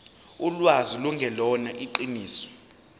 ulwazi lungelona iqiniso